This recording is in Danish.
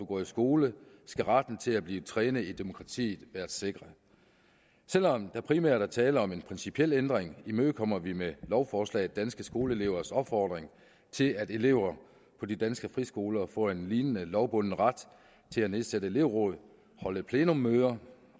går i skole skal retten til at blive trænet i demokratiet være sikret selv om der primært er tale om en principiel ændring imødekommer vi med lovforslaget danske skoleelevers opfordring til at elever på de danske friskoler får en lignende lovbunden ret til at nedsætte elevråd holde plenummøder